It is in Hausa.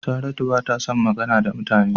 Saratu bata son magana da mutane